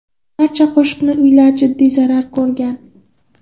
Barcha qo‘shni uylar jiddiy zarar ko‘rgan.